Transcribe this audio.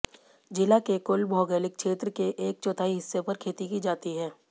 जिला के कुल भौगोलिक क्षेत्र के एक चौथाई हिस्से पर खेती की जाती है